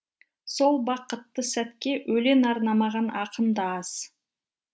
сол бақытты сәтке өлең арнамаған ақын да аз